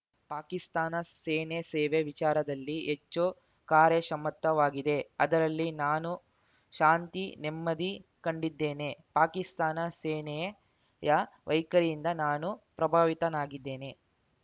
ಪಾಕಿಸ್ತಾನ ಸೇನೆ ಸೇವೆ ವಿಚಾರದಲ್ಲಿ ಹೆಚ್ಚು ಕಾರ್ಯಕ್ಷಮತವಾಗಿದೆ ಅದರಲ್ಲಿ ನಾನು ಶಾಂತಿನೆಮ್ಮದಿ ಕಂಡಿದ್ದೇನೆ ಪಾಕಿಸ್ತಾನ ಸೇನೆಯ ವೈಖರಿಯಿಂದ ನಾನು ಪ್ರಭಾವಿತನಾಗಿದ್ದೇನೆ